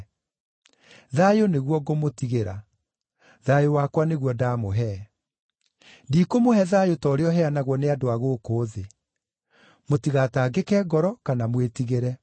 Thayũ nĩguo ngũmũtigĩra; thayũ wakwa nĩguo ndaamũhe. Ndikũmũhe thayũ ta ũrĩa ũheanagwo nĩ andũ a gũkũ thĩ. Mũtigatangĩke ngoro kana mwĩtigĩre.